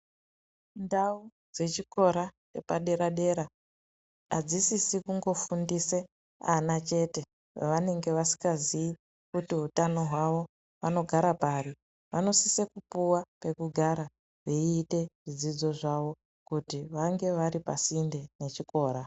Ndau dzechikora chepadera-dera, adzisisi kungofundise ana chete, evanenge asingaziyi kuti hutano hwavo vanogara pari. Vanosise kupuwa pekugara veiite zvidzidzo zvavo, kuti vange vari pasinde nechikora.